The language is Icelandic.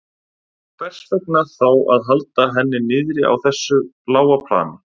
Og hvers vegna þá að halda henni niðri á þessu lága plani?